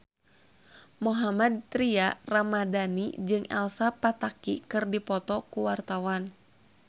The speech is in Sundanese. Mohammad Tria Ramadhani jeung Elsa Pataky keur dipoto ku wartawan